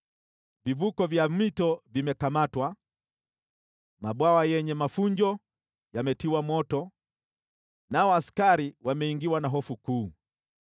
Vivuko vya mito vimekamatwa, mabwawa yenye mafunjo yametiwa moto, nao askari wameingiwa na hofu kuu.”